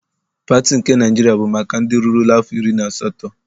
Pati nke Naịjiria bụ maka ndị rurula afọ iri na asatọ.